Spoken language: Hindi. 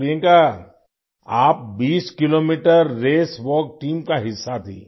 प्रियंका आप 20 किलोमीटर रेस वाल्क टीम का हिस्सा थीं